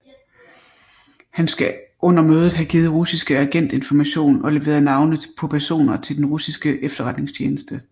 Han skal under møder have givet russiske agent information og leveret navne på personer til den russiske efterretningstjeneste